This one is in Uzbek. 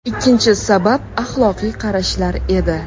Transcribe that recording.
Ikkinchi sabab axloqiy qarashlar edi.